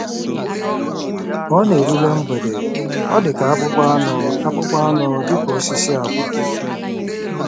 Ka ọ na-erule mgbede, ọ dị ka akpụkpọ anụ akpụkpọ anụ dị ka osisi agwa.